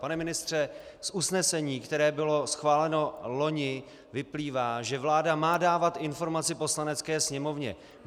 Pane ministře, z usnesení, které bylo schváleno loni, vyplývá, že vláda má dávat informaci Poslanecké sněmovně.